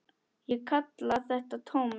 Ég kalla þetta tómið.